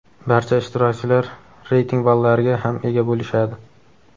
Barcha ishtirokchilar reyting ballariga ham ega bo‘lishadi.